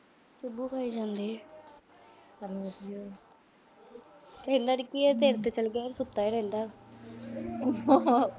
tailor ਕੀ ਆ। tailor ਤਾਂ ਚਲ ਗਈ ਆ। ਕੁੱਤਾ ਈ ਰਹਿੰਦਾ।